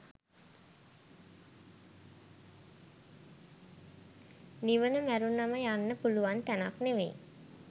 නිවන මැරුණම යන්න පුලුවන් තැනක් නෙවෙයි